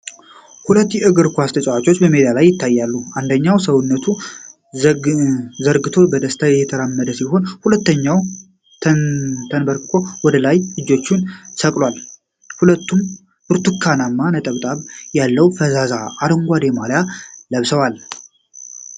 ሁለት የእግር ኳስ ተጫዋቾች በሜዳ ላይ ይታያሉ። አንደኛው ሰውነቱን ዘርግቶ በደስታ እየተራመደ ሲሆን፣ ሁለተኛው ተንበርክኮ ወደ ላይ እጆቹን ሰቅሏል። ሁለቱም ብርቱካናማ ነጠብጣብ ያለው ፈዛዛ አረንጓዴ ማልያ ለብሰዋል።